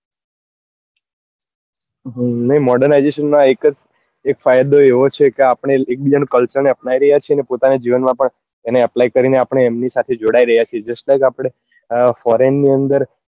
હં નઈ modernization માં એક જ એક ફાયદો એવો છે કે આપડે એક બીજા નું culture અપનાવી રહ્યા છીએ ને પોતાના જીવન માં પણ એને apply કરી ને આપડે એમની સાથે જોડાઈ રહ્યા છીએ just like આપડે foreign ની અંદર